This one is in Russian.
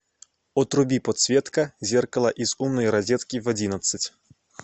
отруби подсветка зеркала из умной розетки в одиннадцать